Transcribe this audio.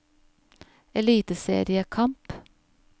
eliteseriekamp